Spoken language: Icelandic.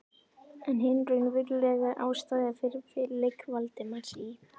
En hin raunverulega ástæða fyrir feluleik Valdimars í